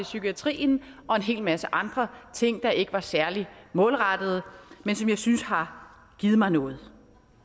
psykiatrien og en hel masse andre ting der ikke var særlig målrettede men som jeg synes har givet mig noget